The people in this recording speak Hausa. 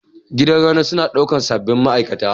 Gidan reno suna ɗaukar sabbin ma'aikata.